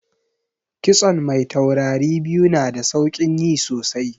Kitson mai taurari biyu na da saukin yi sosai